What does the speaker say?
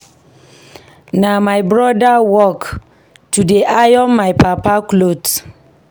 Na my broda work to dey iron my papa cloth.